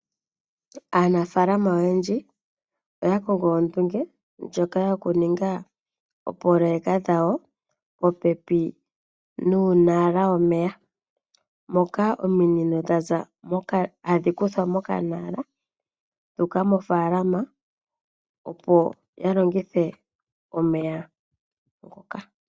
Aanafaalama oyendji oya kongo ondunge ndjoka yoku ninga oopoloyeka dhawo, popepi nuunala womeya, moka ominino ta dhi kuthwa moka nala, dhu uka mo faalama opo ya longithe omeya ngoka.